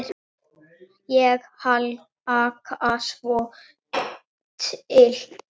Ég hlakka svo Til.